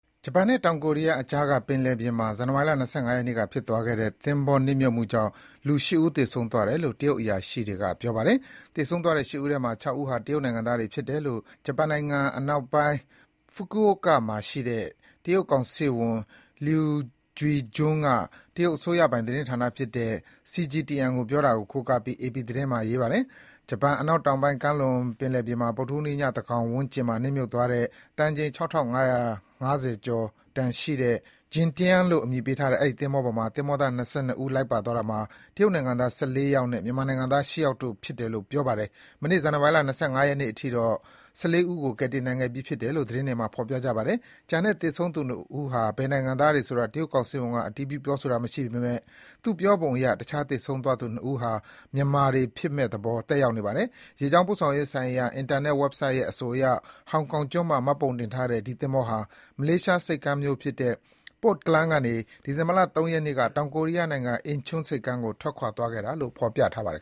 ဂျပန်နဲ့ တောင်ကိုရီးယားအကြားက ပင်လယ်ပြင်မှာ ဇန်နဝါရီလ ၂၅ ရက်နေ့ကဖြစ်သွားတဲ့ သင်္ဘောနစ်မြုပ်မှုကြောင့် လူ ၈ ဦး သေဆုံးသွားတယ်လို့ တရုတ်အရာရှိတွေက ပြောပါတယ်။ သေဆုံးသွားတဲ့ ၈ ဦးထဲက ၆ ဦးဟာ တရုတ်နိုင်ငံသားတွေဖြစ်တယ်လို့ ဂျပန်နိုင်ငံအနောက်ပိုင်း ဖူကူအိုကာ (Fukuoka) မှာရှိတဲ့ တရုတ်ကောင်စစ်ဝန် Lyu Guijun က တရုတ်အစိုးရပိုင်သတင်းဌာနတခုဖြစ်တဲ့ CGTN ကို ပြောတာကို ကိုးကားပြီး အေပီသတင်းမှာ ရေးပါတယ်။ ဂျပန်အနောက်တောင်ပိုင်း ကမ်းလွန်ပင်လယ်ပြင်မှာ ဗုဒ္ဓဟူးနေ့ ညသန်းခေါင်ဝန်းကျင်မှာ နစ်မြုပ်သွားတဲ့ တန်ချိန် ၆,၅၅၁ တန်ရှိတဲ့ Jin Tian လို့ အမည်ပေးထားတဲ့ အဲဒီ သဘောၤပေါ်မှာ သင်္ဘောသား ၂၂ ဦး ပါသွားတာမှာ တရုတ်နိုင်ငံသား ၁၄ ယောက်နဲ့ မြန်မာနိုင်ငံသား ၈ ယောက်တို့ဖြစ်တယ်လို့ ပြောပါတယ်။ မနေ့ ဇန်နဝါရီလ ၂၅ ရက်နေ့အထိတော့ ၁၄ ဦးကို ကယ်တင်နိုင်ခဲ့ပြီးဖြစ်တယ်လို့ ဒေသတွင်းသတင်းတွေမှာ ဖော်ပြကြပါတယ်။ ကျန်တဲ့ သေဆုံး ၂ ဦးဟာ ဘယ်နိုင်ငံသားတွေဆိုတာ တရုတ်ကောင်စစ်ဝန်က အတည်ပြု ပြောဆိုတာမရှိပေမယ့် သူ့ပြောပုံအရ တခြား သေဆုံးသွားသူ ၂ ဦးဟာ မြန်မာတွေဖြစ်မယ့်သဘော သက်ရောက်နေပါတယ်။ ရေကြောင်းပို့ဆောင်ရေးဆိုင်ရာ အင်တာနက် ဝက်ဆိုက်ရဲ့အဆိုအရ ဟောင်ကောင်ကျွန်းမှာ မှတ်ပုံတင်ထားတဲ့ ဒီ သင်္ဘောဟာ မလေးရှားဆိပ်ကမ်းမြို့ဖြစ်တဲ့ Port Klang ကနေ ဒီဇင်ဘာ ၃ ရက်နေ့က တောင်ကိုရီးယားနိုင်ငံ အင်ချွန်း (Incheon) ဆိပ်ကမ်းကို ထွက်ခွာခဲ့တယ်လို့ ဖော်ပြထားပါတယ်